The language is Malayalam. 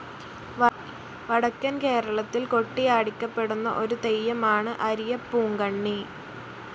വടക്കൻ കേരളത്തിൽ കൊട്ടിയാടിക്കപ്പെടുന്ന ഒരു തെയ്യമാണ് അരിയപ്പൂങ്കണ്ണി.